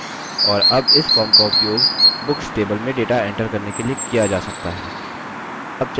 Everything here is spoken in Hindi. और अब इस form का उपयोग books table में data enter करने के लिए किया जा सकता है